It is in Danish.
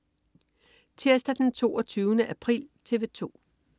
Tirsdag den 22. april - TV 2: